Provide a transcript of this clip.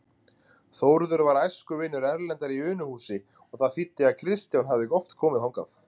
Þórður var æskuvinur Erlendar í Unuhúsi og það þýddi að Kristján hafði oft komið þangað.